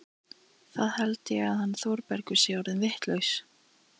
Það held ég að hann Þórbergur sé orðinn vitlaus!